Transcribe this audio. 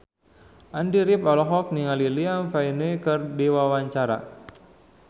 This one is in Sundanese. Andy rif olohok ningali Liam Payne keur diwawancara